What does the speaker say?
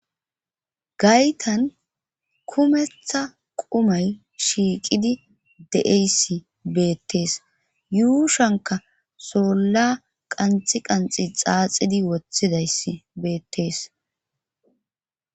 gaytan kumetha qumay shiiqidi de7eysi beettees yuushanka solla qanxi qanxi xaaxidi wothidayssi beettees